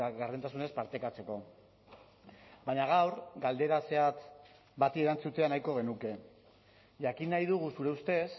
gardentasunez partekatzeko baina gaur galdera zehatz bati erantzutea nahiko genuke jakin nahi dugu zure ustez